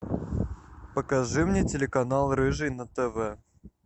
покажи мне телеканал рыжий на тв